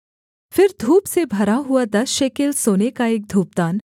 फिर धूप से भरा हुआ दस शेकेल सोने का एक धूपदान